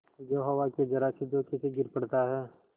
जो हवा के जरासे झोंके से गिर पड़ता है